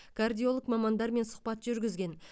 кардиолог мамандармен сұхбат жүргізген